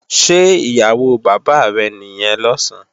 Ṣé ìyàwó bàbá rẹ̀ nìyẹn lọ̀sán?